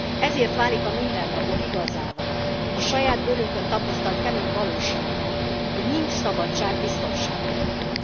Ezért válik a mindennapok igazává, a saját bőrünkön tapasztalt kemény valósággá, hogy nincs szabadság biztonság nélkül.